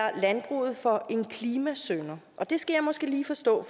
landbruget for en klimasynder og det skal jeg måske lige forstå